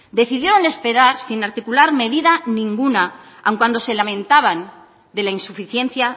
decidieron esperar sin articular medida ninguna aun cuando se lamentaban de la insuficiencia